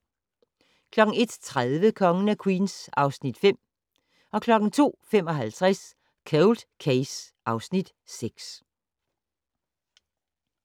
01:30: Kongen af Queens (Afs. 5) 02:55: Cold Case (Afs. 6)